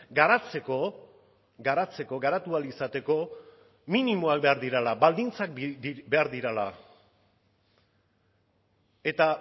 garatzeko garatzeko garatu ahal izateko minimoak behar direla baldintzak behar direla eta